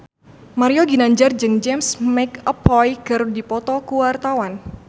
Mario Ginanjar jeung James McAvoy keur dipoto ku wartawan